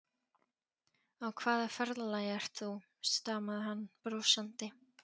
Á hvaða ferðalagi ert þú? stamaði hann brosandi.